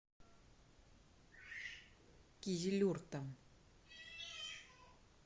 кизилюртом